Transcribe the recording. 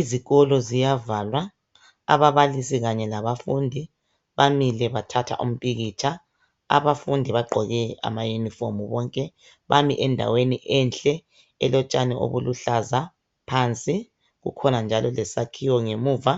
Izikolo ziyavalwa ababalisi kanye labafundi bamile bathatha umpikitsha, abafundi bagqoke amayunifomu bonke bame bonke endaweni enhle elotshani obuluhlaza phansi kukho njalo lesakhiwo ngemuva